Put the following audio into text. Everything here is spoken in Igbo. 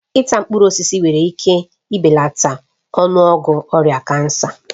Ịta mkpụrụ osisi nwere ike ibelata ọnụọgụ ọrịa kansa